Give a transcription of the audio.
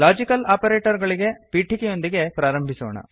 logical operator ಗಳಗೆ ಪೀಠಿಕೆಯೊಂದಿಗೆ ಪ್ರಾರಂಭಿಸೋಣ